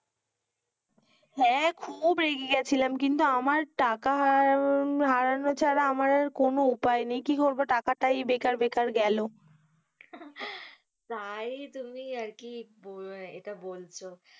হেঁ, খুব রেগে গেছিলাম কিন্তু আমার টাকা হারানো ছাড়া আমার আর কোনো উপায় নেই, কি করবো টাকা তাই বেকার বেকার গেলো তাই তুমি আরকি ইটা বলছো